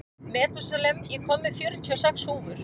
Metúsalem, ég kom með fjörutíu og sex húfur!